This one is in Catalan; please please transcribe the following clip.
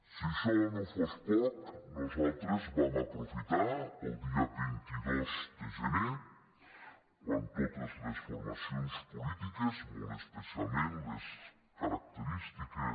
si això no fos poc nosaltres vam aprofitar el dia vint dos de gener quan totes les formacions polítiques molt especialment les característiques